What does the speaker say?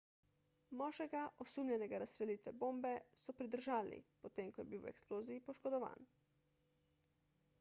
moškega osumljenega razstrelitve bombe so pridržali potem ko je bil v eksploziji poškodovan